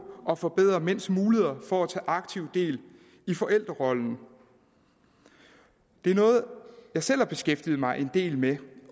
at forbedre mænds muligheder for at tage aktiv del i forældrerollen det er noget jeg selv har beskæftiget mig en del med